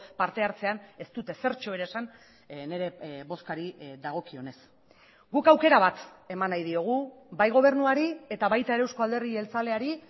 parte hartzean ez dut ezertxo ere esan nire bozkari dagokionez guk aukera bat eman nahi diogu bai gobernuari eta baita ere eusko alderdi jeltzaleari